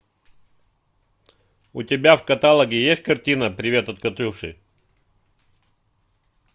у тебя в каталоге есть картина привет от катюши